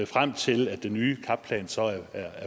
frem til at den nye cap plan så er